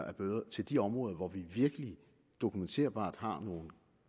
af bøder til de områder hvor vi virkelig dokumenterbart har nogle